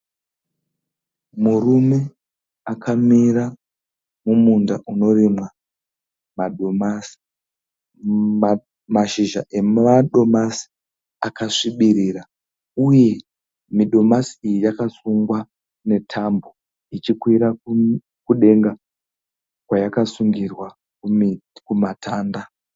Murume akamira mumunda unorimwa madomasi. Mamazhizha amadomasi akasvibirira uye midomasi iyi yakasungwa netambo ichikwira kukudenga kwayakasungirwa kumuti kumatanda.